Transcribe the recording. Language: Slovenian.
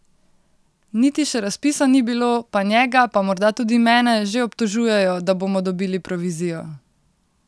Niti še razpisa ni bilo, pa njega, pa morda tudi mene, že obtožujejo, da bomo dobili provizijo!